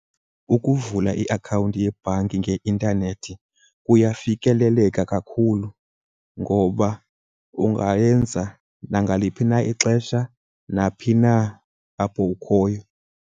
Ukuvula iakhawunti yebhanki ngeintanethi kuyafikeleleka kakhulu ngoba ungayenza nangaliphi na ixesha, naphi na apho ukhoyo.